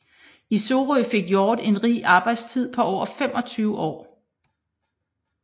I Sorø fik Hjort en rig arbejdstid på over 25 år